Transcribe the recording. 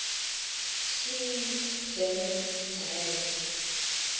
swiss german dialects